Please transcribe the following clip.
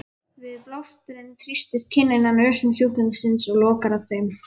Við blásturinn þrýstist kinnin að nösum sjúklingsins og lokar þeim.